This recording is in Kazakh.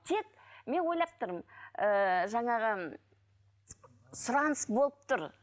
тек мен ойлап тұрмын ыыы жаңағы сұраныс болып тұр